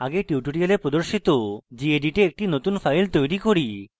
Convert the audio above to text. মৌলিক স্তর ruby tutorials প্রদর্শিত gedit a একটি নতুন file তৈরি করুন